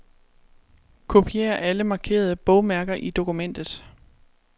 Kopier alle markerede bogmærker i dokumentet.